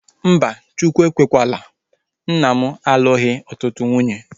Mba, Chukwu ekwekwaala, nna m alụghi ọtụtụ nwunye